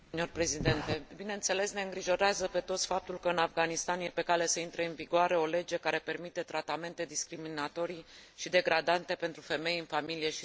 Bineînțeles, ne îngrijorează pe toți faptul că în Afganistan este pe cale să intre în vigoare o lege care permite tratamente discriminatorii și degradante pentru femei în familie și societate.